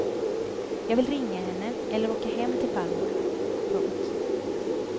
Jag vill ringa henne eller åka hem till farmor. punkt